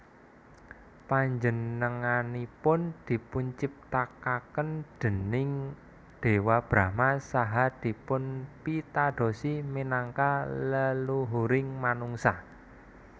Panjenenganipun dipunciptakaken déning Dewa Brahma saha dipunpitadosi minangka leluhuring manungsa